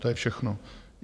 To je všechno.